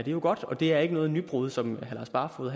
jo godt og det er ikke noget nybrud som herre lars barfoed